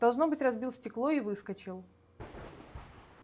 должно быть разбил стекло и выскочил